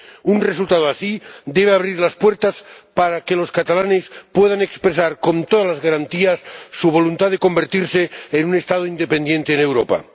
Un resultado así debe abrir las puertas para que los catalanes puedan expresar, con todas las garantías, su voluntad de convertirse en un Estado independiente en Europa.